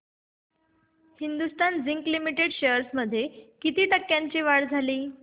Hindustan zinc limited shares मध्ये किती टक्क्यांची वाढ झाली